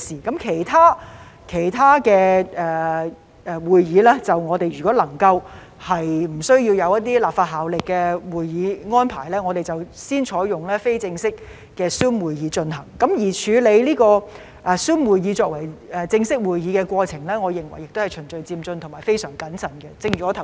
至於其他委員會會議，如果不涉及一些具立法效力的會議安排，我們便先採用非正式的 Zoom 會議來進行；至於採用 Zoom 舉行正式會議，我認為亦是循序漸進及非常謹慎的做法。